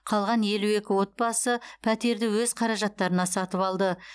қалған елу екі отбасы пәтерді өз қаражаттарына сатып алды